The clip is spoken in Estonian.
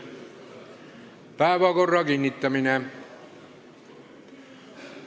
Päevakorra kinnitamine.